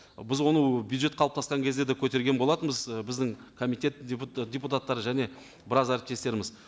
біз оны бюджет қалыптасқан кезде де көтерген болатынбыз ы біздің комитет депутаттары және біраз әріптестеріміз